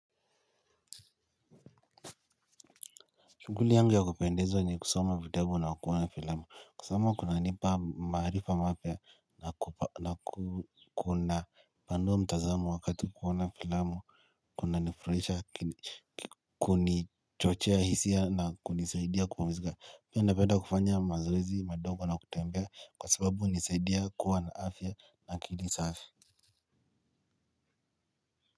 Shughuli yangu ya kupendezwa ni kusoma vitabu na kuona filamo kusoma kunanipa maarifa mapya na kuna panua mtazamo wakati kuona filamo. Kuna nifurahisha kunichochea hisia na kunisaidia kupumizika. Pia napenda kufanya mazoezi madogo na kutembea kwa sababu hunisaidia kuwa na afya na akili safi.